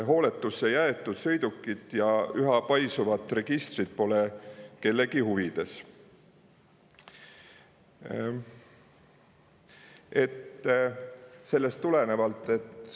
Hooletusse jäetud sõidukid ja üha paisuvad registrid pole kellegi huvides.